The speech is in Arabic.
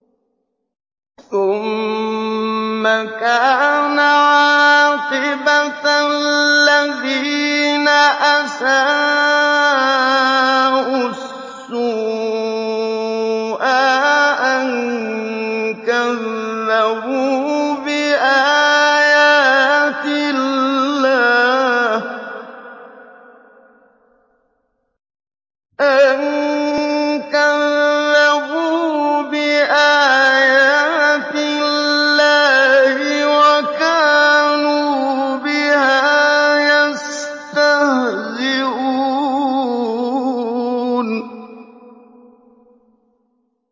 ثُمَّ كَانَ عَاقِبَةَ الَّذِينَ أَسَاءُوا السُّوأَىٰ أَن كَذَّبُوا بِآيَاتِ اللَّهِ وَكَانُوا بِهَا يَسْتَهْزِئُونَ